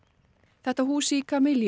þetta hús í